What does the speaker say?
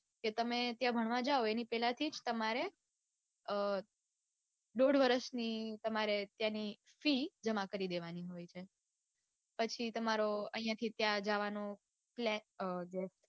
કે તમે ત્યાં ભણવા જાઓ એની પેલેથી જ તમારે અઅ દોઢ વરસની તમારે ત્યાંનો ફી જમા કરી દેવાની હોય છે. પછી તમારે આઇયાથી ત્યાં જવાનો